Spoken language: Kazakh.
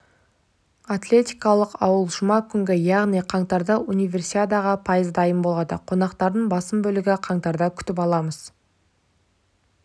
атлетикалық ауыл жұма күні яғни қаңтарда универсиадаға пайыз дайын болады қонақтардың басым бөлігін қаңтарда күтіп аламыз